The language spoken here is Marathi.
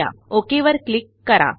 OKवर क्लिक करा